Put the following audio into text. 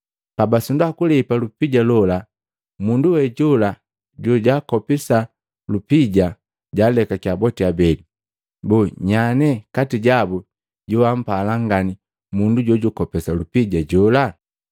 Pabasindwa kulepa lupija lola, mundu we jola jojaakopesa lupija jaalekakya boti abele. Boo nyanye kati jabu joampala ngani mundu jojukopesa lupija jola?”